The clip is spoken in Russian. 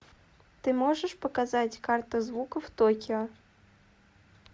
ты можешь показать карта звуков токио